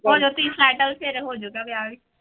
ਹੋ ਜਾਓ ਤੁਸੀਂ settle ਫਿਰ ਹੋ ਜਾਊਗਾ ਵਿਆਹ ਵੀ।